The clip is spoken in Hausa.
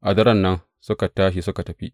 A daren nan suka tashi suka tafi.